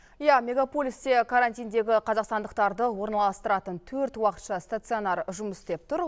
иә мегаполисте карантиндегі қазақстандықтарды орналастыратын төрт уақытша стационар жұмыс істеп тұр